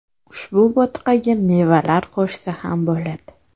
Ushbu bo‘tqaga mevalar qo‘shsa ham bo‘ladi.